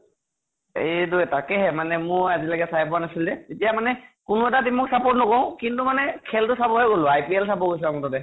এইটো তাকেহে মানে । ময়ো আজিলেকে চাই পোৱা নাছিলো যে । এতিয়া মানে কোনো এটা team ক support নকৰোঁ কিন্তু মানে খেল টো চাবহে গʼলো । IPL চাব গৈছো আকৌ তাতে ।